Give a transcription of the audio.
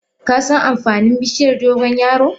Kasan amfanin bishiyar dogon yaro?